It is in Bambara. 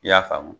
I y'a faamu